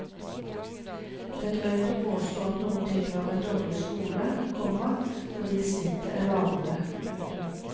Det er drøyt å påstå at noen tilhører en dårlig skole, komma fordi snittet er lavere. punktum